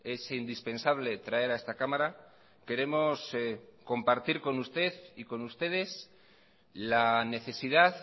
es indispensable traer a esta cámara queremos compartir con usted y con ustedes la necesidad